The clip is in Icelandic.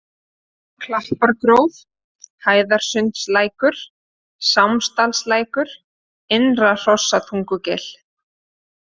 Klappargróf, Hæðarsundslækur, Sámsdalslækur, Innra-Hrossatungugil